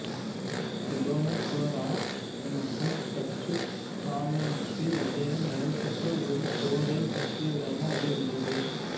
டிபோனெகோராமற்றும் Dutch காலனிக்கு இடையே நடைபெற்ற ஒரு போரைப் பற்றியதாக அது உள்ளது